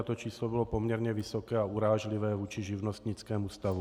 A to číslo bylo poměrně vysoké a urážlivé vůči živnostnickému stavu.